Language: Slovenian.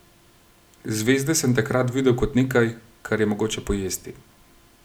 Zvezde sem takrat videl kot nekaj, kar je mogoče pojesti.